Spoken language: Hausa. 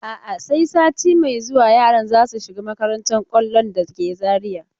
A'a, sai sati mai zuwa yaran za su shiga makantar kwallon da ke Zariya.